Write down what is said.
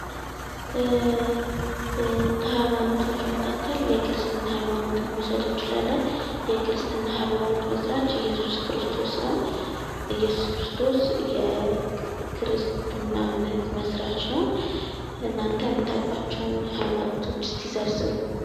ከሀይማኖቶች መካከል የክርስትና ሀይማኖትን መዉሰድ እንችላለን። የክርስትና ሀይማኖት መስራች ኢየሱስ ክርስቶስ ነዉ። ኢየሱስ ክርስቶስ የክርስትና እምነት መስራች ነዉ። እናተ የምታዉቋቸዉን ሀይማኖቶች እስኪ ዘርዝሩ?